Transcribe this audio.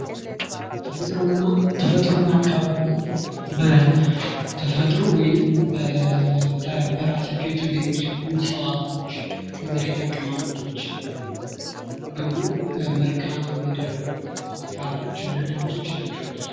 ተፈጥሮ እና አካባቢ በተፈጥሮ ወይንም በራሳቸው የተገኙ ሲሆኑ እጽዋቶች የመሬት አቀማማጦች ደግሞ መልከአምድር ስነስራቶች ናቸው።